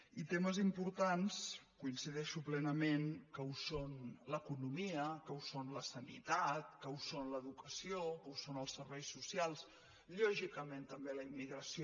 i temes importants coincideixo plenament que ho són l’economia que ho són la sanitat que ho són l’educació que ho són els serveis socials lògicament també la immigració